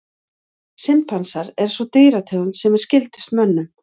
Simpansar er sú dýrategund sem er skyldust mönnum.